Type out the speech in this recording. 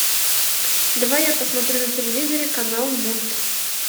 давай я посмотрю на телевизоре канал мульт